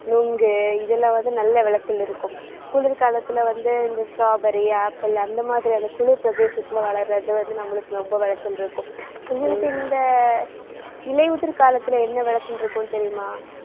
நுங்கு, இதுல வந்து நல்ல விளைச்சல் இருக்கும். குளிர்காலத்துல வந்து இந்த strawberry, apple அந்த மாதிரியான அந்த குளிர் பிரதேசத்துல வளர்றது வந்து நம்மளுக்கு ரொம்ப விளைச்சல் இருக்கும் உங்களுக்கு இந்த இலையுதிர் காலத்துல என்ன விளைச்சல் இருக்கும்னு தெரியுமா?